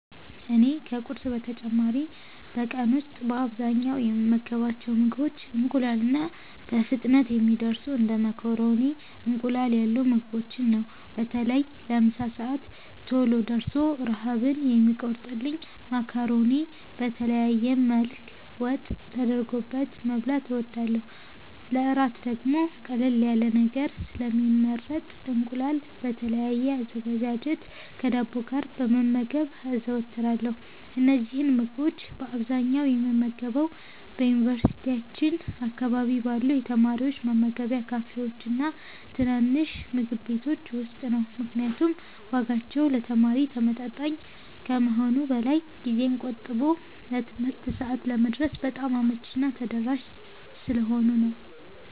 እኔ ከቁርስ በተጨማሪ በቀን ውስጥ በአብዛኛው የምመገባቸው ምግቦች ቀላልና በፍጥነት የሚደርሱ እንደ ማካሮኒና እንቁላል ያሉ ምግቦችን ነው። በተለይ ለምሳ ሰዓት ቶሎ ደርሶ ረሃብን የሚቆርጥልኝን ማካሮኒ በተለያየ መልክ ወጥ ተደርጎበት መብላት እወዳለሁ። ለእራት ደግሞ ቀለል ያለ ነገር ስለሚመረጥ እንቁላል በተለያየ አዘገጃጀት ከዳቦ ጋር መመገብ አዘወትራለሁ። እነዚህን ምግቦች በአብዛኛው የምመገበው በዩኒቨርሲቲያችን አካባቢ ባሉ የተማሪዎች መመገቢያ ካፌዎችና ትናንሽ ምግብ ቤቶች ውስጥ ነው፤ ምክንያቱም ዋጋቸው ለተማሪ ተመጣጣኝ ከመሆኑም በላይ ጊዜን ቆጥቦ ለትምህርት ሰዓት ለመድረስ በጣም አመቺና ተደራሽ ስለሆኑ ነው።